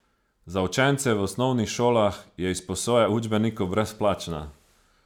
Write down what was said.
Za učence v osnovnih šolah je izposoja učbenikov brezplačna.